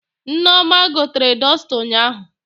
Nneoma gotere dọsta ụnyaahụ